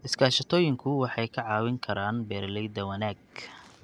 Iskaashatooyinku waxay ka caawin karaan beeralayda wanaag.